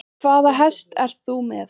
Linda: Hvaða hest ert þú með?